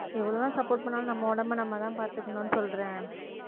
எவ்வளவுதான் support பண்ணாலும் நம்ம உடம்பை நம்மதான் பாத்துக்கணும்னு சொல்றேன்